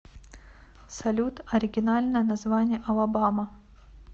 салют оригинальное название алабама